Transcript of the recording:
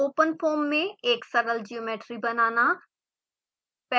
openfoam में एक सरल ज्योमेट्री बनाना